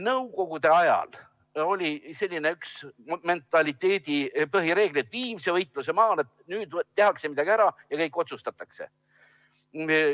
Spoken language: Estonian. Nõukogude ajal oli üks mentaliteedi põhireegleid: viimse võitluse maale, nüüd tehakse midagi ära ja kõik otsustatakse.